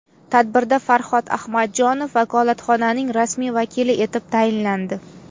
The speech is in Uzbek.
Tadbirda Farhod Ahmadjonov vakolatxonaning rasmiy vakili etib tayinlandi.